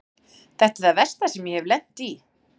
Þetta er það versta sem ég hef lent í.